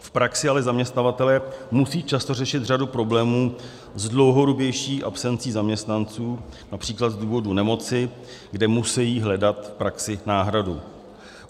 V praxi ale zaměstnavatelé musí často řešit řadu problémů s dlouhodobější absencí zaměstnanců, například z důvodu nemoci, kde musejí hledat v praxi náhradu.